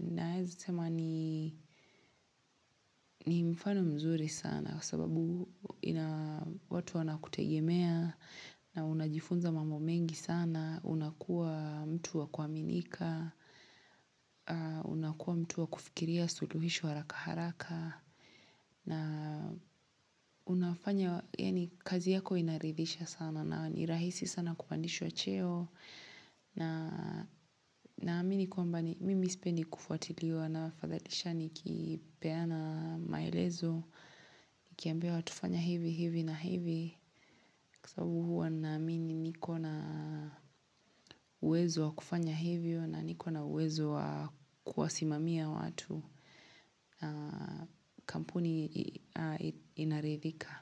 Naweza sema ni mfano mzuri sana sababu watu wanakutegemea na unajifunza mambo mengi sana. Na unakua mtu wa kuaminika, unakuwa mtu wa kufikiria suluhisho raka haraka, na unafanya, yani kazi yako inaridhisha sana, na ni rahisi sana kupandishwa cheo, naamini kwamba, mimi sipendi kufuatiliwa, na fathadisha nikipeana maelezo, nikiambia watu fanya hivi, hivi na hivi, kwa sababu huwa naamini nikona uwezo wa kufanya hivyo na nikona uwezo wa kuwasimamia watu kampuni inaridhika.